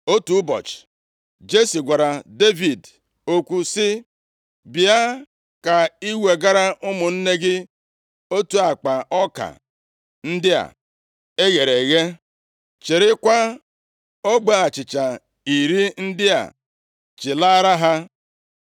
Otu ụbọchị, Jesi gwara Devid okwu sị, “Bịa ka i wegara ụmụnne gị otu akpa ọka ndị a e ghere eghe. Chịrịkwa ogbe achịcha iri ndị a chịlara ha.